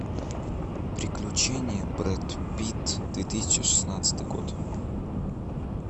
приключения брэд питт две тысячи шестнадцатый год